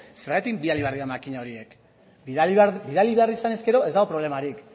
zergatik bidali behar dira makina horiek bidali behar izanez gero ez dago problemarik